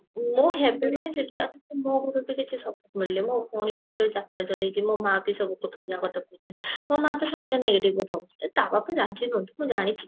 ମୁଁ ହେବି ମାନେ ସେଠି ଆଉ ମୋ ଘରୁ ତ କିଛି support ମିଳୁନି ମୋ ଭଉଣୀ ବି ଗୋଟେ ଯାତ୍ରା ଚଲେଇଛି ମୋ ମାଆ କୁ ସବୁ ଲୋକ ଦୁନିଆ କଥା କହୁଛନ୍ତି ମୋ ମାଆ ତ ସାଙ୍ଗେ ସାଙ୍ଗେ negative କଥା ଆରେ ତା ବାପା ରାଗି ନୁହନ୍ତି ମୁଁ ଜାଣିଛି